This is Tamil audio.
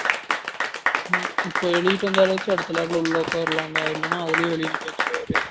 இப்போ எழுதிட்டு வந்தாளாச்சு அடுத்த lab ல உள்ள உட்காரலாம் டா இல்லன அதுலயும் வெளிய நிக்க வச்சுருவாறு